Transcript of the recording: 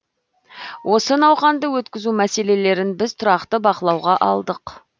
осы науқанды өткізу мәселелерін біз тұрақты бақылауға алдық